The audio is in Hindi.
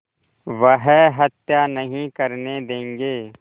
वह हत्या नहीं करने देंगे